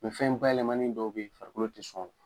fɛn bayɛlɛmani dɔw bɛ ye farikolo tɛ sɔn o ma.